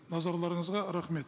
назарларыңызға рахмет